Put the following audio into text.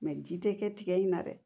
ji tɛ kɛ tigɛ in na dɛ